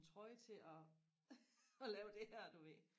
en trøje til og og lave det her du ved